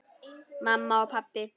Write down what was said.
Mamma og pabbi.